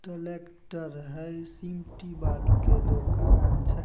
Tractor हई सिमटी बालू के दुकान छै।